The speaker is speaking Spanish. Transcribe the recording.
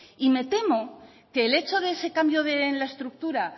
y me temo que el hecho de ese cambio en la estructura